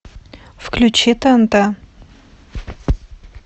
включи тнт